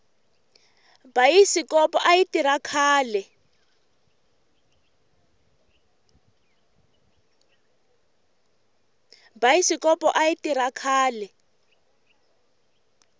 bayisikopo ayi tirha khale